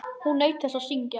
Hún naut þess að syngja.